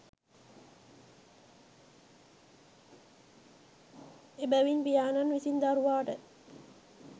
එබැවින් පියාණන් විසින් දරුවාට